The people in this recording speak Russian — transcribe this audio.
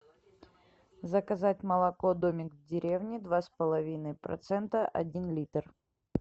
заказать молоко домик в деревне два с половиной процента один литр